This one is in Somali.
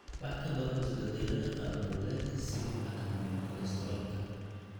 Wax ka baro isbeddellada qaab nololeedka si loo xakameeyo kolestaroolka.